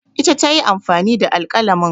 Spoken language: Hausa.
Ita ta yi amfani da alƙalamin